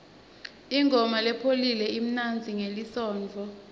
ingoma lepholile imnanzi ngelisontfo